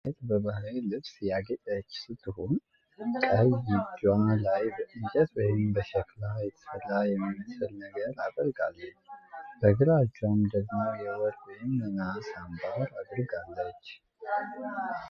አንዲት ሴት በባህላዊ ልብስ ያጌጠች ስትሆን፣ ቀኝ እጇ ላይ በእንጨት ወይም በሸክላ የተሰራ የሚመስል ነገር አጥልቃለች። በግራ እጇ ደግሞ የወርቅ ወይም የናስ አምባር አድርጋለች።